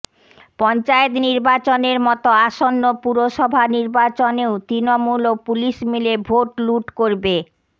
পঞ্চায়েত নির্বাচনের মতো আসন্ন পুরসভা নির্বাচনেও তৃণমূল ও পুলিশ মিলে ভোট লুট করবে